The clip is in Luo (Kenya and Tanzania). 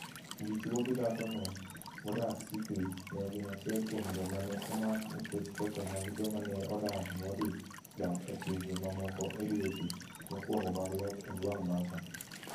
Dichwo gi dhakono modak Sikri, ne gin achiel kuom joma ne omak nikech ketho mag joma ne odar modhi dak e pinje mamoko e dweche mokwongo mag loch Ojwang Macha.